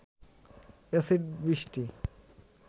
acid বৃষ্টি